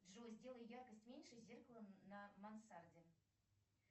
джой сделай яркость меньше зеркала на мансарде